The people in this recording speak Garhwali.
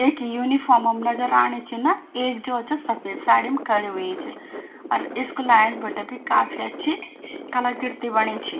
एक यूनिफोम म नजर आणी छिन एक जो च सफेद साड़ी म खड़ी हुई च अर स्कूला ऐंच बटै बि काफी अच्छी कलाकृति बणी छि।